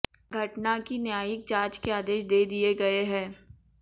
घटना की न्यायिक जांच के आदेश दे दिए गए हैं